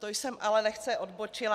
To jsem ale lehce odbočila.